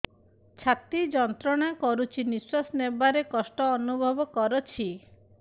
ଛାତି ଯନ୍ତ୍ରଣା କରୁଛି ନିଶ୍ୱାସ ନେବାରେ କଷ୍ଟ ଅନୁଭବ କରୁଛି